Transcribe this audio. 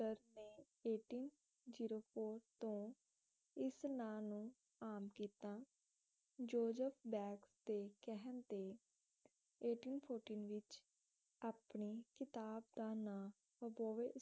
ਤੋਂ ਇਸ ਨਾਂ ਨੂੰ ਆਮ ਕੀਤਾ ਜ਼ੋਜ਼ਫ਼ ਬੈਂਕਸ ਦੇ ਕਹਿਣ ਤੇਵਿੱਚ ਆਪਣੀ ਕਿਤਾਬ ਦਾ ਨਾਂ